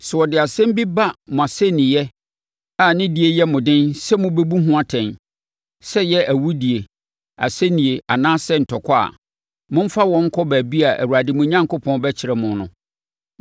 Sɛ wɔde nsɛm bi ba mo asɛnniiɛ a ne die yɛ mo den sɛ mobɛbu ho atɛn, sɛ ɛyɛ awudie, asɛnnie, anaasɛ ntɔkwa a, momfa wɔn nkɔ baabi a Awurade, mo Onyankopɔn, bɛkyerɛ mo no.